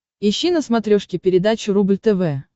ищи на смотрешке передачу рубль тв